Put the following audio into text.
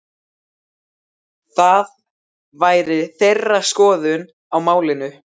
Það væri þeirra skoðun á málinu?